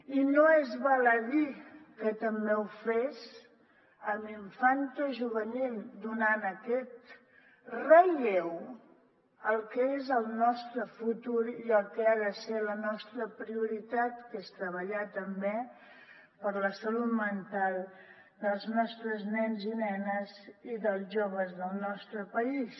i no és baladí que també ho fes amb infantojuvenil donant aquest relleu al que és el nostre futur i el que ha de ser la nostra prioritat que és treballar també per la salut mental dels nostres nens i nenes i dels joves del nostre país